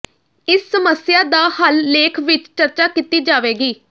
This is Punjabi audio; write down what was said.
ਇਸ ਸਮੱਸਿਆ ਦਾ ਹੱਲ ਲੇਖ ਵਿਚ ਚਰਚਾ ਕੀਤੀ ਜਾਵੇਗੀ